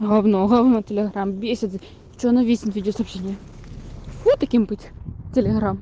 говно говно телеграмм бесит что оно веснет видеосообщение фу таким быть телеграмм